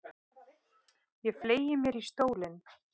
Mamma var ástfangin og lét öll varnaðarorð sem vind um eyru þjóta.